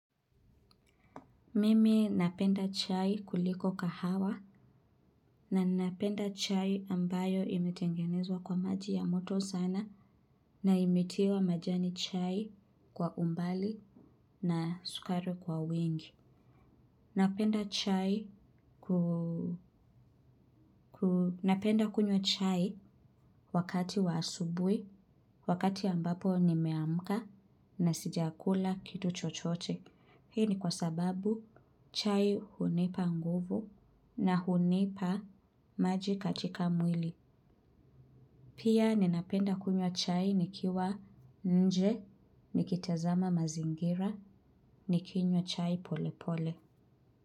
Mimi napenda chai kuliko kahawa na ninapenda chai ambayo imetengenezwa kwa maji ya moto sana na imetiwa majani chai kwa umbali na sukari kwa wingi. Napenda kunywa chai wakati wa asubui, wakati ambapo nimeamka na sijakula kitu chochote. Hii ni kwa sababu chai hunipa nguvu na hunipa maji katika mwili. Pia ninapenda kunywa chai nikiwa nje, nikitazama mazingira, nikinywa chai pole pole.